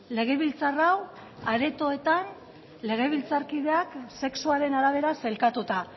legebiltzar hau aretoetan legebiltzarkideak sexuaren arabera sailkatuta